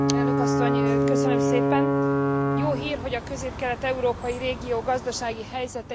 Jó hír, hogy a közép kelet európai régió gazdasági helyzete is kedvezőbb értékelést mutat.